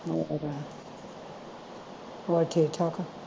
ਹੋਰ ਹੋਰ ਠੀਕ ਠਾਕ ਆ